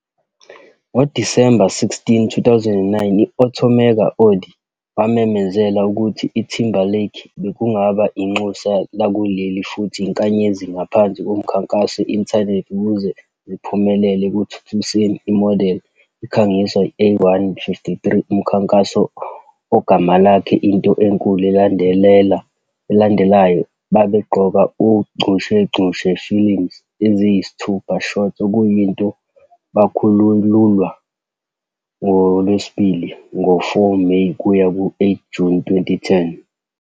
Ngo-December 16, 2009, i-automaker Audi wamemezela ukuthi Timberlake bekungaba inxusa lakuleli futhi inkanyezi ngaphansi komkhankaso Internet ukuze ziphumelele ekuthuthukiseni imodeli ikhangiswe A1.53 Umkhankaso, ogama lakhe "Into enkulu elandelayo 'babegqoka uchungechunge films eziyisithupha short okuyinto bakhululwa njalo ngoLwesibili, ngo-May 4 kuya 8 Juni 2010.